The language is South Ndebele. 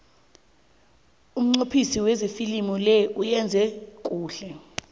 umnqophisi wefilimu le uyenze kuhle